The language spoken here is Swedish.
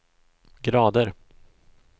grader